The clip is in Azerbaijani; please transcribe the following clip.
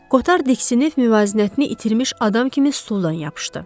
Kotar diksinib müvazinətini itirmiş adam kimi stuldan yapışdı.